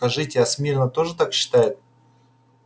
скажите а смирно тоже так считает